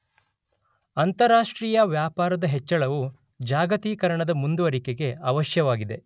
ಅಂತಾರಾಷ್ಟ್ರೀಯ ವ್ಯಾಪಾರದ ಹೆಚ್ಚಳವು ಜಾಗತೀಕರಣದ ಮುಂದುವರಿಕೆಗೆ ಅವಶ್ಯವಾಗಿದೆ.